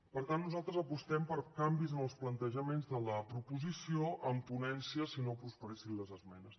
per tant nosaltres apostem per canvis en els plantejaments de la proposició en ponència si no prosperessin les esmenes